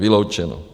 Vyloučeno!